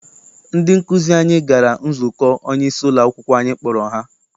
Ndị nkụzi anyị gara nzukọ onyeisi ụlọakwụkwọ anyị kpọrọ ha.